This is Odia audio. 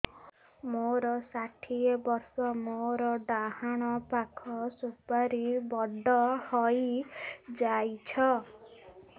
ମୋର ଷାଠିଏ ବର୍ଷ ମୋର ଡାହାଣ ପାଖ ସୁପାରୀ ବଡ ହୈ ଯାଇଛ